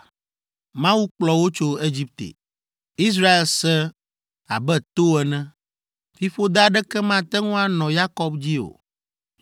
Mawu kplɔ wo tso Egipte; Israel sẽ abe to ene. Fiƒode aɖeke mate ŋu anɔ Yakob dzi o,